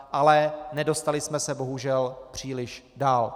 Ale nedostali jsme se bohužel příliš dál.